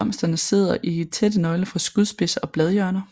Blomsterne sidder i tætte nøgler fra skudspidser og bladhjørner